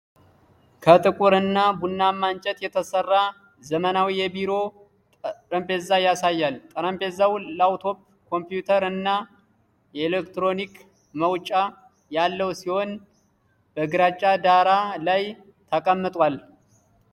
ከጥቁር እና ቡናማ እንጨት የተሰራ ዘመናዊ የቢሮ ጠረጴዛ ያሳያል። ጠረጴዛው ላፕቶፕ ኮምፒዩተር እና የኤሌክትሪክ መውጫ ያለው ሲሆን፣ በግራጫ ዳራ ላይ ተቀምጧል?